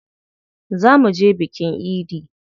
Zaa muje bikin idi.